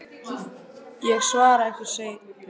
Ég svara ykkur seinna.